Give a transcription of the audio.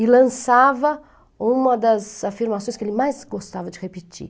E lançava uma das afirmações que ele mais gostava de repetir.